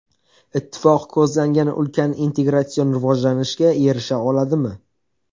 Ittifoq ko‘zlangan ulkan integratsion rivojlanishga erisha oladimi?